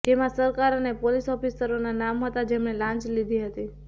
જેમાં સરકાર અને પોલીસ ઓફિસરોના નામ હતા જેમણે લાંચ લીધી હતી